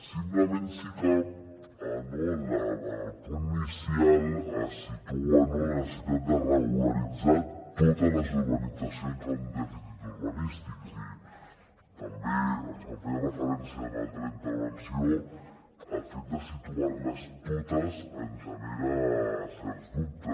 simplement sí que en el punt inicial es situa la necessitat de regularitzar totes les urbanitzacions amb dèficits urbanístics i també s’hi feia referència a una altra intervenció el fet de situar les totes ens genera certs dubtes